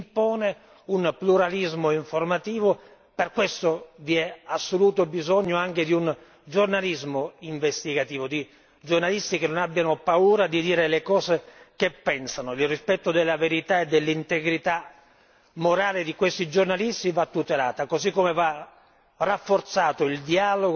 Per questo vi è assoluto bisogno anche di un giornalismo investigativo, di giornalisti che non abbiano paura di dire le cose che pensano, nel rispetto della verità e dell'integrità morale di questi giornalisti che va tutelata, così come va rafforzato il dialogo e la cooperazione con quelle parti del mondo, alcune già